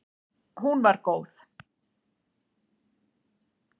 Hún var góð.